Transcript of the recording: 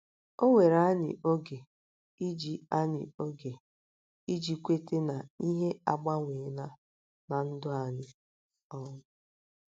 O were anyị oge iji anyị oge iji kweta na ihe agbanweela ná um ndụ anyị. um